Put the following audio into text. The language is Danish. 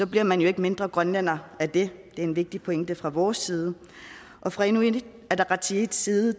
bliver man jo ikke mindre grønlænder af det det er en vigtig pointe fra vores side og fra inuit ataqatigiits side